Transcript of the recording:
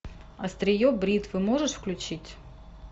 острие бритвы можешь включить